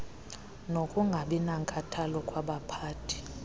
nokungabi nankathalo kwabaphathi